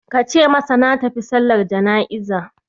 Ka ce masa na tafi sallar jana'iza